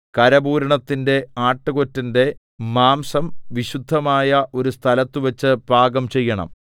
കരപൂരണത്തിന്റെ ആട്ടുകൊറ്റന്റെ മാംസം വിശുദ്ധമായ ഒരു സ്ഥലത്ത് വച്ച് പാകം ചെയ്യണം